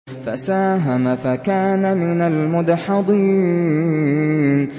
فَسَاهَمَ فَكَانَ مِنَ الْمُدْحَضِينَ